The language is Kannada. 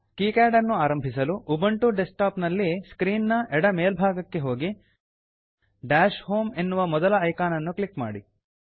ಕಿಕ್ಯಾಡ್ ನ್ನು ಆರಂಭಿಸಲು ಉಬುಂಟು ಡೆಸ್ಕ್ ಟಾಪ್ ನಲ್ಲಿ ಸ್ಕ್ರೀನ್ ನ ಎಡ ಮೇಲ್ಭಾಗಕ್ಕೆ ಹೋಗಿ ದಶ್ ಹೋಮ್ ಡಾಷ್ ಹೋಮ್ ಎನ್ನುವ ಮೊದಲ ಐಕಾನ್ ಅನ್ನು ಕ್ಲಿಕ್ ಮಾಡಿ